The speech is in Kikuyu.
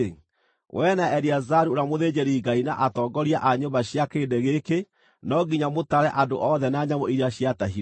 “Wee na Eleazaru ũrĩa mũthĩnjĩri-Ngai na atongoria a nyũmba cia kĩrĩndĩ gĩkĩ no nginya mũtare andũ othe na nyamũ iria ciatahirwo.